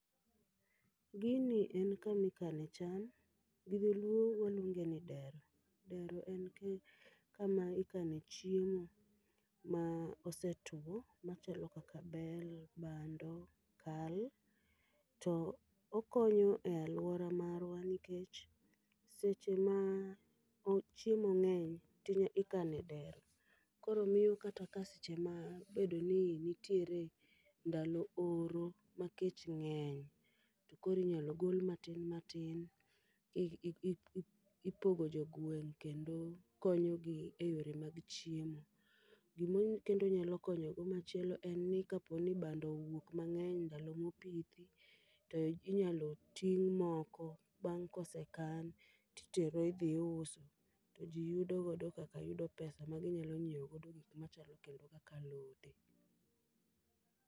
Gini en kamikane cham, gi Dholuo waluonge ni dero. Dero en ki kama ikane chiemo ma osetwo, machalo kaka bel, bando, kal. To okonyo e alwora marwa nikech seche ma o chiemo ng'eny tinya, ikane dero. Koro miyo kata ka seche ma obedo ni nitiere ndalo oro ma kech ng'eny, korinyal gol matin matin. Ipogo jogweng' kendo konyogi e yore mag chiemo. Gimo kendo onya konyogo machielo en ni kaponi bando owuok mang'eny ndalo mopithi, to inyalo ting' moko bang' kosekan titero idhi iuso. To ji yudo godo kaka yudo pesa ma ginyalo nyiewo godo gik moko machalo kendo kaka alote.